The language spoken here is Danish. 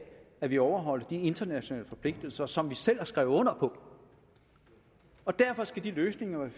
at vi overholder de internationale forpligtelser som vi selv har skrevet under på og derfor skal de løsninger